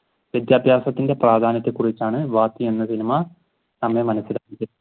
വിധ്യാബ്യാസത്തിന്റെ പ്രാധ്യാനത്തെ കുറിച്ചാണ് വാത്തി എന്ന സിനിമ.